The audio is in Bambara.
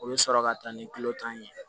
O bɛ sɔrɔ ka taa ni kulo tan ye